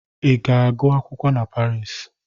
Ị ga-agụ akwụkwọ na Parii?